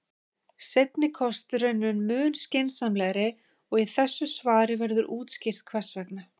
Seinni kosturinn er mun skynsamlegri og í þessu svari verður útskýrt hvers vegna.